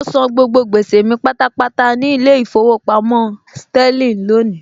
Mọ san gbogbo gbèsè mi pátápátá ní ilé ìfowópamọ́ Sterling lónìí